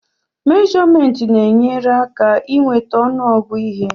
mèjọmèntị na-enyere aka i nweta ọnụgụ ihe